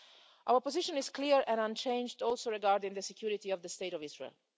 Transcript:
Our position is also clear and unchanged regarding the security of the state of Israel.